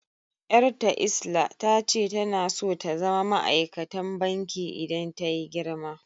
Yar'ta lsla tace tana so ta zama ma'aikatan banki idan tayi girma.